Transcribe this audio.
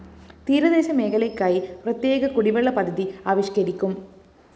തീരദേശ മേഖലക്കായി പ്രതേ്യക കുടിവെള്ള പദ്ധതി ആവിഷ്‌കരിക്കും